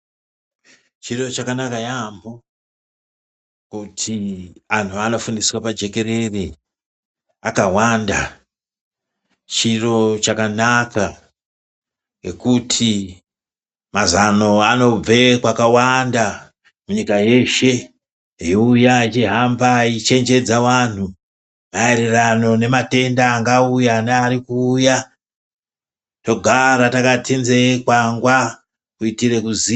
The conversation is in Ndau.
Chiro chakanaka yaamho kuti anhu anofundiswe pajekerere akawanda. Chiro chakanaka ngekuti mazano anobve kwakawanda munyika yeshe eiuya echihamba eichenjedza vanhu maererano nematenda angauya nearikuuya togara takati nzee kwangwa kuitire kuziva.